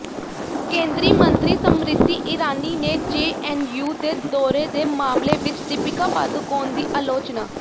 ਕੇਂਦਰੀ ਮੰਤਰੀ ਸਮਰਿਤੀ ਇਰਾਨੀ ਨੇ ਜੇਐਨਯੂ ਦੇ ਦੌਰੇ ਦੇ ਮਾਮਲੇ ਵਿੱਚ ਦੀਪਿਕਾ ਪਾਦੂਕੋਣ ਦੀ ਆਲੋਚਨਾ